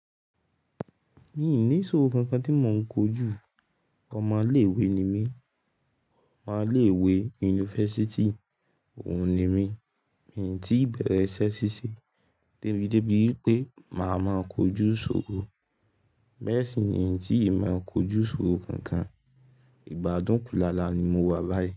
Mi ò ní iṣòro kankan tí mò ń kojú. Ọmọ ilé ìwé ni mí. Ọmọ ilé ìwé universíty, òun ni mí. Èmi o tí ì bẹ̀rẹ̀ iṣẹ́ ṣíṣe débi débi wípé màá máa kojú ṣòro. Beẹ́sì ni èmi o tí ì máa kojú iṣòro kankan. Ìgbàádùn kú làlà ni mo wà báyìí.